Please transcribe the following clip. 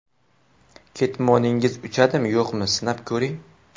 Ketmoningiz uchadimi, yo‘qmi, sinab ko‘ring.